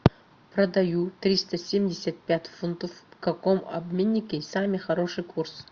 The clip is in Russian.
продаю триста семьдесят пять фунтов в каком обменнике самый хороший курс